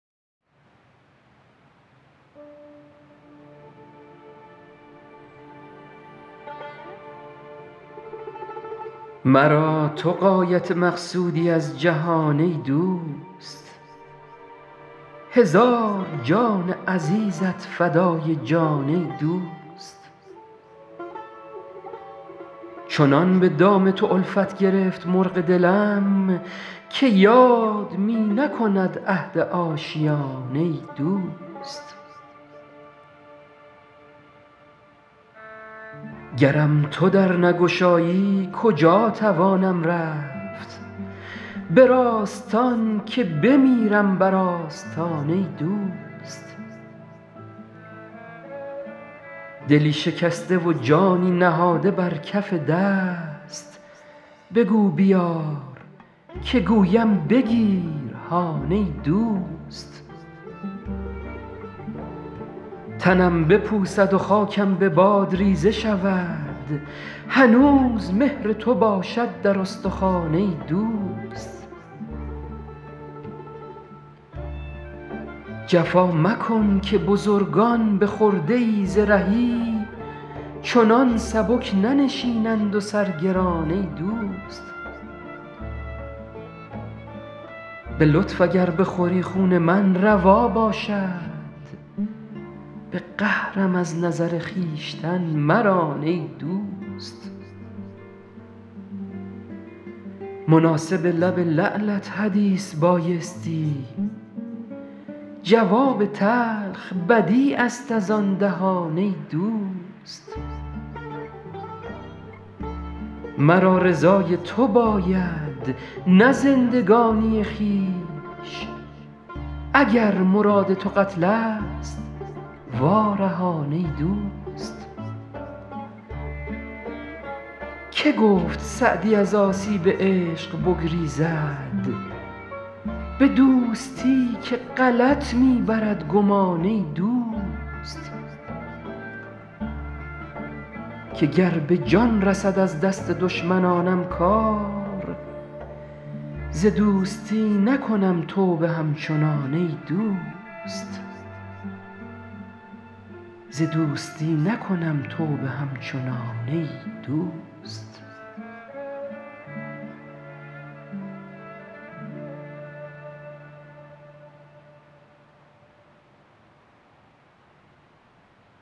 مرا تو غایت مقصودی از جهان ای دوست هزار جان عزیزت فدای جان ای دوست چنان به دام تو الفت گرفت مرغ دلم که یاد می نکند عهد آشیان ای دوست گرم تو در نگشایی کجا توانم رفت به راستان که بمیرم بر آستان ای دوست دلی شکسته و جانی نهاده بر کف دست بگو بیار که گویم بگیر هان ای دوست تنم بپوسد و خاکم به باد ریزه شود هنوز مهر تو باشد در استخوان ای دوست جفا مکن که بزرگان به خرده ای ز رهی چنین سبک ننشینند و سر گران ای دوست به لطف اگر بخوری خون من روا باشد به قهرم از نظر خویشتن مران ای دوست مناسب لب لعلت حدیث بایستی جواب تلخ بدیع است از آن دهان ای دوست مرا رضای تو باید نه زندگانی خویش اگر مراد تو قتل ست وا رهان ای دوست که گفت سعدی از آسیب عشق بگریزد به دوستی که غلط می برد گمان ای دوست که گر به جان رسد از دست دشمنانم کار ز دوستی نکنم توبه همچنان ای دوست